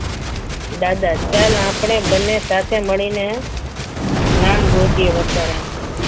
દાદા ચલ આપણે બંને સાથે મળીને નામ ગોતીએ વર્ષારાણીના.